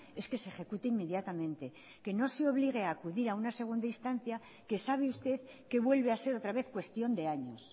es que se ejecute inmediatamente que no se obligue a acudir a una segunda instancia que sabe usted que vuelve a ser otra vez cuestión de años